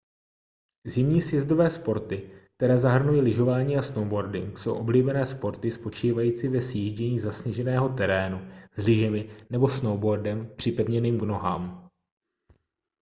zimní sjezdové sporty které zahrnují lyžování a snowboarding jsou oblíbené sporty spočívající ve sjíždění zasněženého terénu s lyžemi nebo snowboardem připevněným k nohám